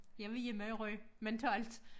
Jeg var hjemme i Rye mentalt